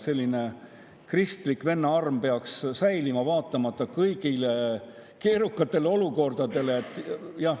Selline kristlik vennaarm peaks säilima, vaatamata kõigile keerukatele olukordadele.